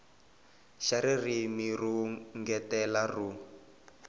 xa ririmi ro engetela ro